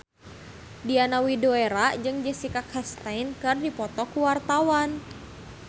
Diana Widoera jeung Jessica Chastain keur dipoto ku wartawan